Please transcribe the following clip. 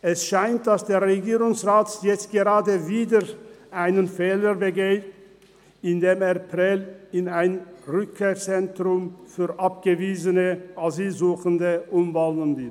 Es scheint, dass der Regierungsrat jetzt gerade wieder einen Fehler begeht, indem er Prêles in ein Rückkehrzentrum für abgewiesene Asylsuchende umwandeln will.